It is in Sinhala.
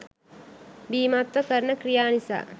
බීමත්ව කරන ක්‍රියා නිසා